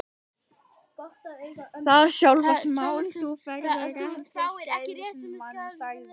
Það er sjálfsagt mál að þú fáir réttargæslumann- sagði